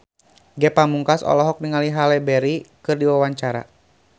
Ge Pamungkas olohok ningali Halle Berry keur diwawancara